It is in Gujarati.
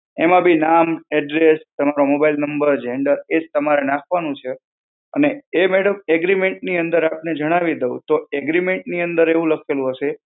એમાં બી, નામ, address, તમારો mobile number, gender એ જ તમારે નાખવાનું છે. અને એ madam agreement ની અંદર જણાવી આપને દઉં, તો agreement ની અંદર એવું લખેલું હશે,